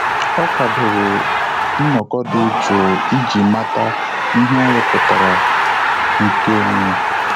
Ọ́ kwàdòrò nnọ́kọ́ dị́ jụụ iji màtá ihe ọ́ rụ́pụ̀tárà nke onwe ya.